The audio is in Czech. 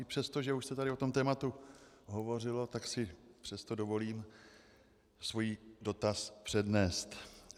I přesto, že už se tady o tom tématu hovořilo, tak si přesto dovolím svůj dotaz přednést.